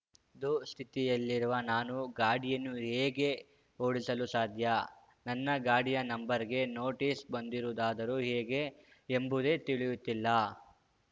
ದುಸ್ಥಿತಿಯಲ್ಲಿರುವ ನಾನು ಗಾಡಿಯನ್ನು ಹೇಗೆ ಓಡಿಸಲು ಸಾಧ್ಯ ನನ್ನ ಗಾಡಿಯ ನಂಬರ್‌ಗೆ ನೋಟಿಸ್‌ ಬಂದಿರುವುದಾದರೂ ಹೇಗೆ ಎಂಬುದೇ ತಿಳಿಯುತ್ತಿಲ್ಲ